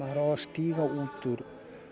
að stíga ut úr